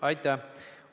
Aitäh!